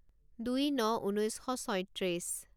দুই ন ঊনৈছ শ ছয়ত্ৰিছ